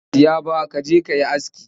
Ba zan saya ba ka je ka yi aski